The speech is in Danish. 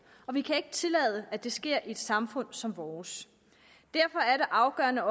og vi kan ikke tillade at det sker i et samfund som vores derfor er det afgørende